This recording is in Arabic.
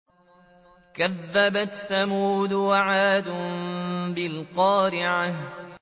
كَذَّبَتْ ثَمُودُ وَعَادٌ بِالْقَارِعَةِ